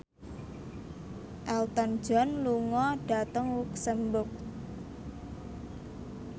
Elton John lunga dhateng luxemburg